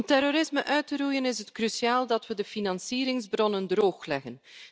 Om terrorisme uit te roeien is het cruciaal dat we de financieringsbronnen droogleggen.